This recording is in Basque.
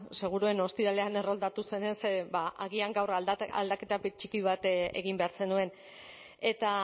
seguruen ostiralean erroldatu zenez ba agian gaur aldaketa txiki bat egin behar zenuen eta